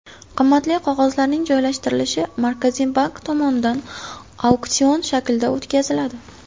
Qimmatli qog‘ozlarning joylashtirilishi Markaziy bank tomonidan auksion shaklida o‘tkaziladi.